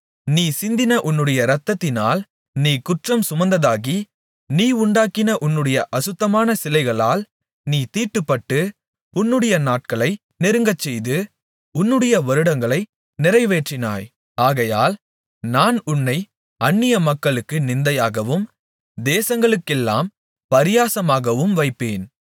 நீ சிந்தின உன்னுடைய இரத்தத்தினால் நீ குற்றம்சுமந்ததாகி நீ உண்டாக்கின உன்னுடைய அசுத்தமான சிலைகளால் நீ தீட்டுப்பட்டு உன்னுடைய நாட்களை நெருங்கச்செய்து உன்னுடைய வருடங்களை நிறைவேற்றினாய் ஆகையால் நான் உன்னைப் அந்நியமக்களுக்கு நிந்தையாகவும் தேசங்களுக்கெல்லாம் பரியாசமாகவும் வைப்பேன்